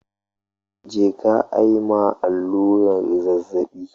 Je ka ayi ma allurar zazzabi